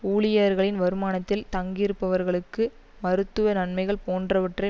ஊழியர்களின் வருமானத்தில் தங்கியிருப்பவர்களுக்கு மருத்துவ நன்மைகள் போன்றவற்றை